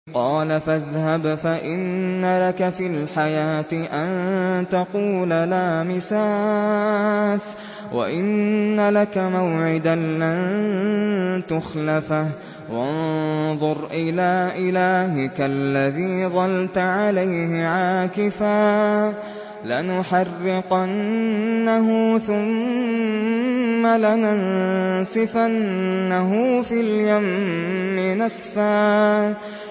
قَالَ فَاذْهَبْ فَإِنَّ لَكَ فِي الْحَيَاةِ أَن تَقُولَ لَا مِسَاسَ ۖ وَإِنَّ لَكَ مَوْعِدًا لَّن تُخْلَفَهُ ۖ وَانظُرْ إِلَىٰ إِلَٰهِكَ الَّذِي ظَلْتَ عَلَيْهِ عَاكِفًا ۖ لَّنُحَرِّقَنَّهُ ثُمَّ لَنَنسِفَنَّهُ فِي الْيَمِّ نَسْفًا